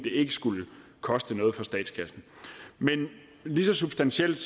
ikke skulle koste noget for statskassen men lige så substantielt